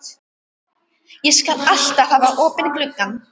Ég skal alltaf hafa opinn gluggann.